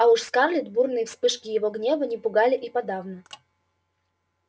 а уж скарлетт бурные вспышки его гнева не пугали и подавно